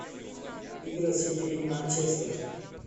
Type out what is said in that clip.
игра сити и манчестер